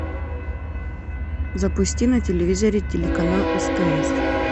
запусти на телевизоре телеканал стс